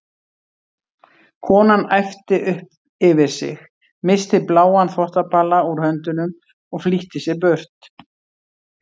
Konan æpti upp yfir sig, missti bláan þvottabala úr höndunum og flýtti sér burt.